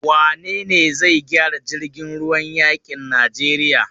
Wane ne zai gyara jirgin ruwan yakin Najeriya?